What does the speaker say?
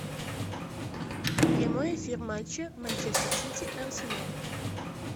прямой эфир матча манчестер сити арсенал